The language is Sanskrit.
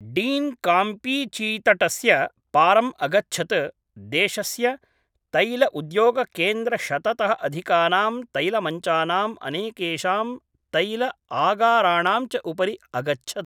डीन् काम्पीचीतटस्य पारम् अगच्छत् देशस्य तैलउद्योगकेन्द्र शततः अधिकानां तैलमञ्चानाम् अनेकेषां तैलआगाराणां च उपरि अगच्छत्